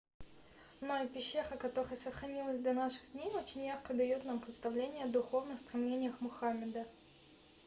ну а пещера которая сохранилась до наших дней очень ярко даёт нам представление о духовных стремлениях мухаммеда